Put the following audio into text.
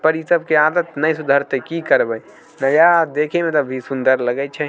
--पर ई सब के आदत ने सुधरते की करबे। दया देखे में भी ते सुंदर लगे छै।